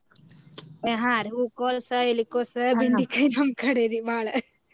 ಹಾ ರಿ ಹೂಕೋಸ, ಎಲಿಕೋಸ ಬೆಂಡಿಕಾಯಿ ನಮ್ ಕಡೆರಿ ಬಾಳ.